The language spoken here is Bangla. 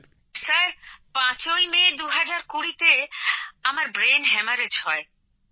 প্রগতিঃ স্যার ৫ই মে ২০২০ তে আমার ব্রেন হ্যামারেজ হয়